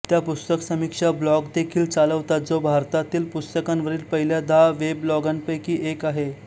त्या पुस्तक समीक्षा ब्लॉग देखील चालवतात जो भारतातील पुस्तकांवरील पहिल्या दहा वेबलॉगांपैकी एक आहे